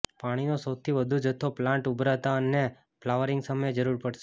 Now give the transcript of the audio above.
પાણીનો સૌથી વધુ જથ્થો પ્લાન્ટ ઊભરતાં અને ફ્લાવરીંગ સમયે જરૂર પડશે